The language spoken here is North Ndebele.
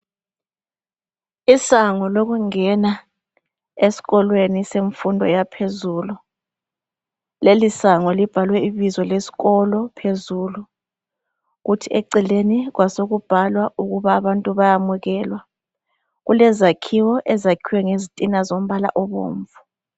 Isango lokungena esikolweni semfundo yaphezulu, lelisango libhalwe ibizo lesikolo phezulu, kuthi eceleni kwasokubhalwa ukuba abantu bayamukela. Kulezakhiwo ezakhiwe ngezitina zombala obomvu.